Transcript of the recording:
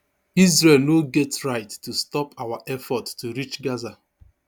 israel no get right to stop our effort to reach gaza